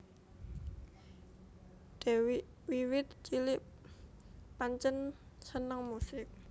Dewiq wiwit cilik pancén seneng musik